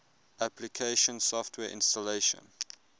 application software installation